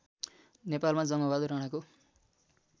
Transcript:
नेपालमा जङ्गबहादुर राणाको